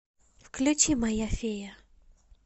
включи моя фея